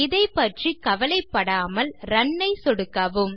இதைப்பற்றி கவலைப்படாமல் ரன் ஐ சொடுக்கவும்